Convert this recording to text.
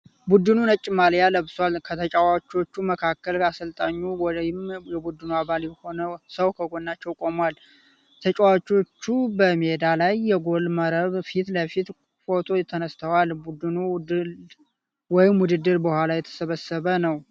ቡድኑ ነጭ ማልያ ለብሷል። ከተጫዋቾቹ መካከል አሰልጣኙ ወይም የቡድኑ አባል የሆነ ሰው ከጎናቸው ቆሟል። ተጫዋቾቹ በሜዳ ላይ የጎል መረብ ፊት ለፊት ፎቶ ተነስተዋል። ቡድኑ ድል ወይም ውድድር በኋላ የተሰበሰበ ነው።